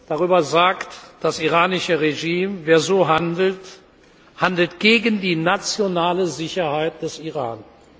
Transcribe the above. Darüber sagt das iranische Regime Wer so handelt, handelt gegen die nationale Sicherheit des Iran.